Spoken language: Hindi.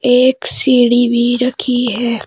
एक सीढ़ी भी रखी है।